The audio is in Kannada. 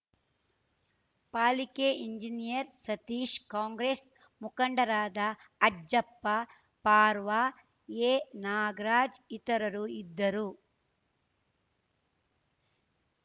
ಪಾಲಿಕೆ ಇಂಜಿನಿಯರ್‌ ಸತೀಶ್ ಕಾಂಗ್ರೆಸ್‌ ಮುಖಂಡರಾದ ಅಜ್ಜಪ್ಪ ಪರ್ವಾ ಎನಾಗರಾಜ್ ಇತರರು ಇದ್ದರು